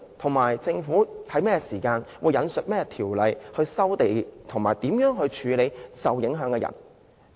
此外，政府會在何時引述甚麼條例收地，以及處理受影響的人士？